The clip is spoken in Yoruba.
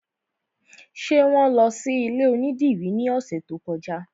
Ṣé wọn lọ sí ilé onídìrí ní ọ̀sẹ̀ tó kọjá?